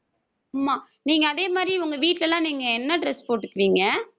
ஆமா நீங்க அதே மாதிரி உங்க வீட்ல எல்லாம் நீங்க என்ன dress போட்டுக்குவீங்க